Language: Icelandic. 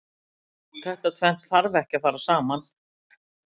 Þetta tvennt þarf ekki að fara saman.